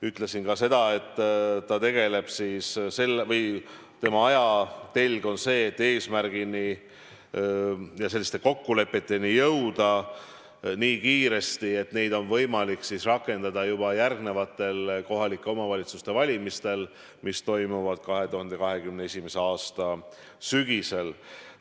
Ütlesin ka seda, et ta tegeleb või tema ajatelg on see, et eesmärgile või kokkulepetele jõuda nii kiiresti, et neid oleks võimalik rakendada juba järgnevatel kohalike omavalitsuste valimistel, mis toimuvad 2021. aasta sügisel.